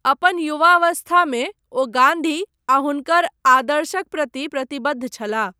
अपन युवावस्थामे, ओ गान्धी आ हुनकर आदर्शक प्रति प्रतिबद्ध छलाह।